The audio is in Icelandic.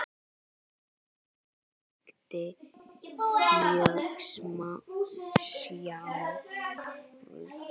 Hún hringdi mjög sjaldan heim.